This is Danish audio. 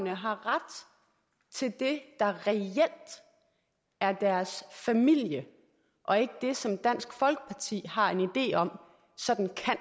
har ret til det der reelt er deres familie og ikke det som dansk folkeparti har en idé om